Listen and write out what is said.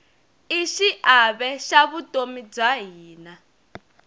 i xiave xa vutomi bya hina